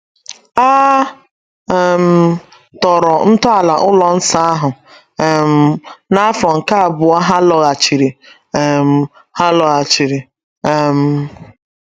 A um tọrọ ntọala ụlọ nsọ ahụ um n’afọ nke abụọ ha lọghachiri um ha lọghachiri um.